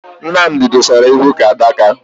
Nnamdi dosara ihu ka adaka